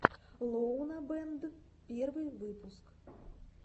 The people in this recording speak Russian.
лоунабэнд первый выпуск